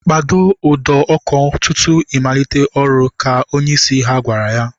Kpado ụdọ ọkụ tutu I malite ọrụ! Ka onyeisi ha gwara ya